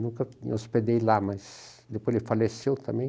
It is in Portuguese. Nunca me hospedei lá, mas depois ele faleceu também.